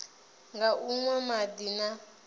nga u nwa madi na